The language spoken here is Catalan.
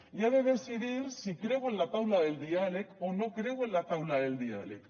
i ha de decidir si creu en la taula del diàleg o no creu en la taula del diàleg